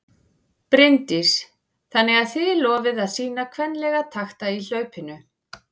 Bryndís: Þannig að þið lofið að sýna kvenlega takta í hlaupinu?